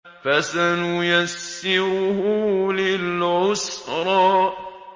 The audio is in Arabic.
فَسَنُيَسِّرُهُ لِلْعُسْرَىٰ